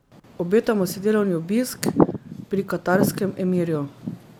Obetamo si delovni obisk pri katarskem emirju.